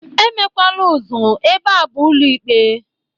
E mekwala ụzụ, ebe a bụ ụlọ ikpe!